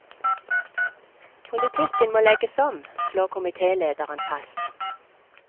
Politikken må legges om, slår komitélederen fast.